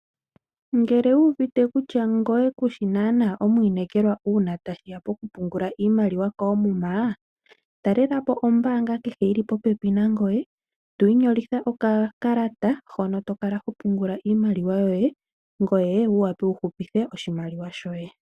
Ngele wu uvite kutya ngoye kushi nana omwinekelwa uuna tashiya pokupungula iimaliwa koomuma ,talelapo ombanga kehe yili popepi nangoye twi nyolotha okakalata hono to kala hopungula iimaliwa yoye ngoye wu wape wu hupithe oshimaliwa shoye.